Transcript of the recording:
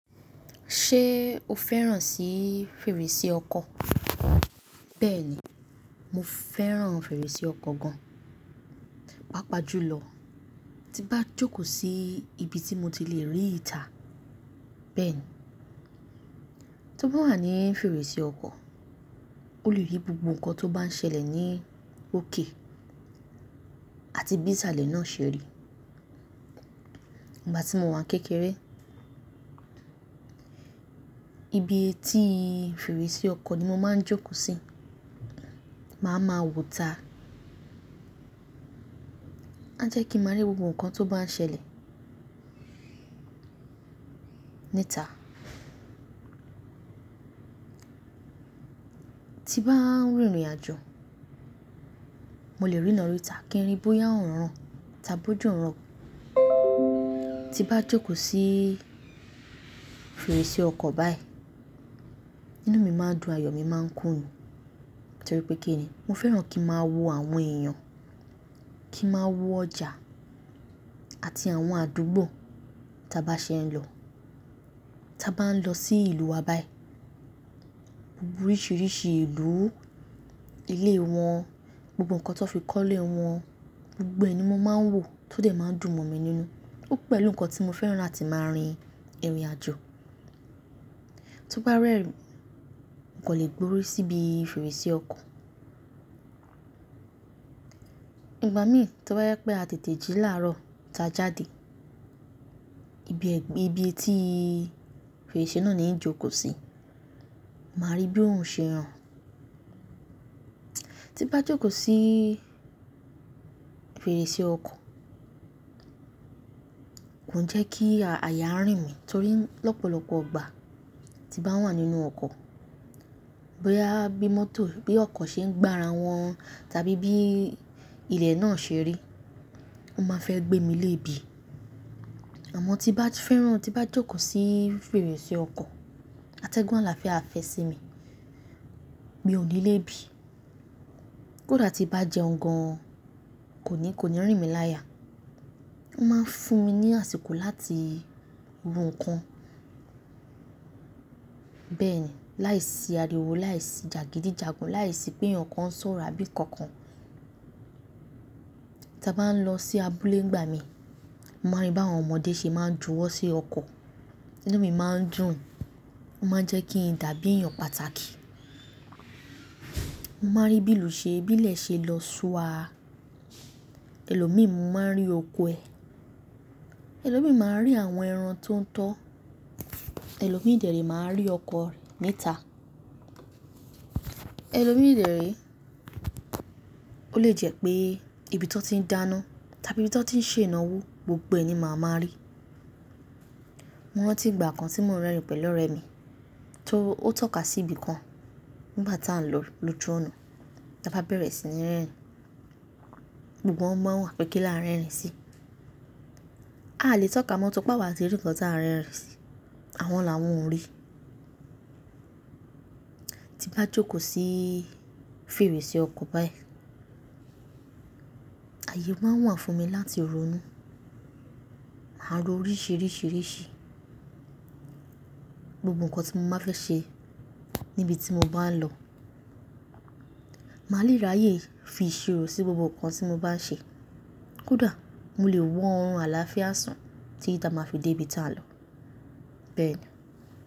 Ṣé o fẹ́ràn sí fèrèsé ọkọ̀? Bẹ́ẹ̀ni, mo fẹ́ràn fèrèsé ọkọ̀ gan. Páapa jùlọ, tí n bá jókòó sí ibi tí mo ti lè rí ìta. Bẹ́ẹ̀ni, tó bá wà ní fèrèsé ọkọ̀, o lè rí gbogbo nǹkan tó bá ń ṣẹlẹ̀ ní òkè àti bí ìsàlẹ̀ náà ṣe rí. Nígbà tí mo wà kékeré, ibi etí fèrèsé ọkọ̀ ni mo máa ń jókò sí, màá ma wò ìta. A jẹ́ kí n maa rí gbogbo nǹkan tó bá ń ṣẹlẹ̀ ní ìta. Tí bá ń rìnrìn àjò, mo lè rína ri ìtà kí n rí bóyá òòrùn ran tàbí òjò ń rọ̀. Tí n bá jókòó sí fèrèsé ọkọ̀ báyìí, inú mi máa ń dùn, ayọ̀ mi máa ń kún ni torí pé kí ni, mo fẹ́ràn kí n máa wo àwọn èèyàn, kí n máa wo ọjà àti àwọn àdúgbò tí a bá ṣe ń lọ. Tí a bá ń lọ sí ìlú wa báyìí, gbogbo oríṣiríṣi ìlú, ilé wọn, gbogbo nǹkan tí wọ́n fi kọ́lé wọn, gbogbo ẹ̀ ni mo máa ń wò tó dẹ̀ máa ń dùn mọ̀ mi nínú. Ó pẹ̀lú nǹkan tí mo fẹ́ràn láti máa rin ìrìn àjò. Tó bá rẹ́rìn, kò lè gbórí síbi fèrèsé ọkọ̀. Ìgbà mí tó bá jẹ́ pé a tètè jí láàárọ̀ tí a jáde, ibi ẹgbẹ́ ibi etí fèrèsé náà ni ń jókòó sí, màá rí bí oòrun ṣe ràn. Tí n bá jókòó sí fèrèsé ọkọ̀, kò n jẹ́ kí àyà rìn mí torí lọ́pọ̀lọ́pọ̀ ìgbà tí n bá wà nínú ọkọ̀, bóyá bí mọ́tò bí ọkọ̀ ṣe ń gbá ara wọn tàbí bí ilẹ̀ náà ṣe rí, wọ́n máa fẹ́ gbé mi léèbí. Àmọ́ tí n bá ti fẹ́ràn, tí n bá jókòó sí fèrèsé ọkọ̀, atẹ́gùn àlàáfíà a fẹ́ sí mi. Mi ò ní lé bí. Kódà tí n bá jẹ́un gan, kò ní, kò ní rìn mí láya. Wọ́n máa ń fún mi ní àsìkò láti wo nǹkan. Bẹ́ẹ̀ni, láìsí ariwo, láìsí jagidijagan, láìsí pé èèyàn kan ń sọ̀rọ̀ àbí kankan. Tí a bá ń lọ sí abúlé nìgbà mí, mo máa ń rí bí àwọn ọmọdé ṣe máa ń juwọ́ sí ọkọ̀. Ìnú mi máa ń dùn, wọ́n máa ń jẹ́ kí n dàbí èèyàn pàtàkì. Mo máa ń rí bíi ìlú ṣe, bí ilẹ̀ ṣe lọ súaa. Ẹ̀lòmíì mo máa ń rí oko ẹ. Ẹ̀lòmíì máa ń rí àwọn ẹran tó ń tọ́. Ẹ̀lòmíì dẹ̀ ré, o máa ń rí ọkọ̀ ní ìta. Ẹ̀lòmíì de ré, ó lè jẹ́ pé ibi tí wọ́n ti ń dáná tàbí ibi tí wọ́n ti ń ṣe ìnáwó gbogbo ẹ̀ ni màá máa rí. Mo rántí ìgbà kan tí mò n rìn pẹ̀lú ọ̀rẹ́ mi tó, ó tọ́ka sí ibi kan nígbà tí à ń lọ lójú ọ̀nà, tí a bá bẹ̀rẹ̀ sí ní rìn. Gbogbo wọn baa ń wo wa pè kín la ń r'ẹ́rìn sí. A lè tọ́ka mọ́ tóripe awá tì rí nǹkan tí a r'erìn sí, àwọn làwọn o rí. Tí n bá jókòó sí fèrèsé ọkọ̀ báyìí, ààyè máa wà fún mi láti ronú. Màá ro oríṣiríṣi, gbogbo nǹkan tí mo bá fẹ́ ṣe níbi tí mo bá ń lọ. Màá lè ráyè fi ìṣirò sí gbogbo nǹkan tí mo bá ṣe. Kódà mo lè wọ̀n àlàáfíà sàn títi ti a máa fi dé ibi tí a ń lọ. Bẹ́ẹ̀ni.